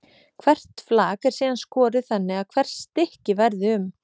Hvert flak er síðan skorið þannig að hvert stykki verði um